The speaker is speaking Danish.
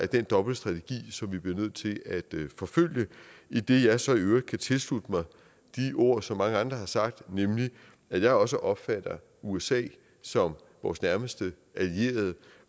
den dobbelte strategi som vi bliver nødt til at forfølge idet jeg så i øvrigt kan tilslutte mig de ord som mange andre har sagt nemlig at jeg også opfatter usa som vores nærmeste allierede